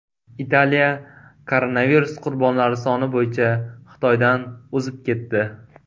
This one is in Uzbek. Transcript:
Italiya koronavirus qurbonlari soni bo‘yicha Xitoydan o‘zib ketdi.